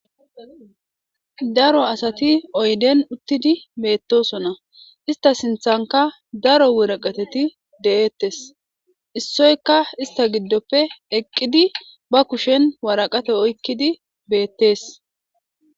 Daro asati oyden uttidi beettosona ista sinthanka daro woreqateti de7eettes issoyka ista giddoppe eqqidi ba kushen waraqate oykkidi beettees.